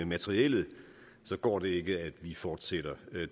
materiellet så går det ikke at vi fortsætter